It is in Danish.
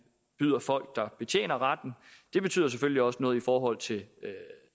byder folk der betjener retten det betyder selvfølgelig også noget i forhold til